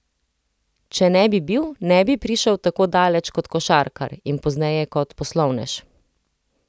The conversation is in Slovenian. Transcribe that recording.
Če ne bi bil, ne bi prišel tako daleč kot košarkar in pozneje kot poslovnež.